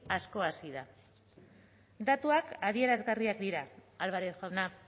asko hasi da datuak adierazgarriak dira álvarez jauna